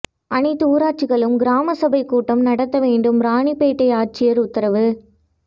அனைத்து ஊராட்சிகளிலும் கிராம சபைக் கூட்டம் நடத்த வேண்டும் ராணிப்பேட்டை ஆட்சியா் உத்தரவு